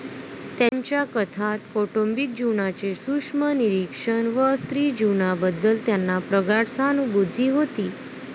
त्यांच्या कथांत कौटुंबिक जीवनाचे सूक्ष्म निरीक्षण व स्त्री जीवनाबद्दल त्यांना प्रगाढ सहानभूती होती.